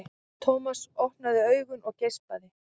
Thomas opnaði augun og geispaði.